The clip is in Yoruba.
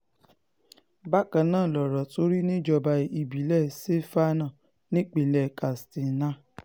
bákan náà lọ̀rọ̀ tún rí níjọba ìbílẹ̀ sefaná nípínlẹ̀ katsina